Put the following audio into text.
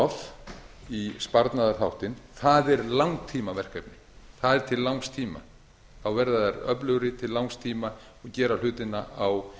of í sparnaðarþáttinn það er langtímaverkefni það er til langs tíma þá verða þær öflugri til langs tíma gera hlutina á